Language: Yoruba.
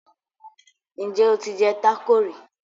Njé o tí jé taco rí?